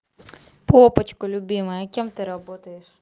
папочка любимая а кем ты работаешь